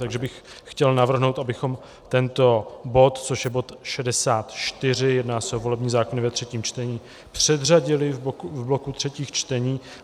Takže bych chtěl navrhnout, abychom tento bod, což je bod 64, jedná se o volební zákony ve třetím čtení, předřadili v bloku třetích čtení.